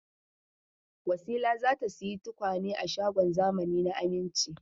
Wasila za ta sayi tukwane a shagon zamani na Aminci.